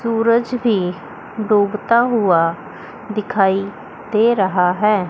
सूरज भी डूबता हुआ दिखाई दे रहा है।